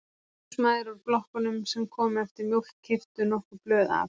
Húsmæður úr blokkunum sem komu eftir mjólk keyptu nokkur blöð af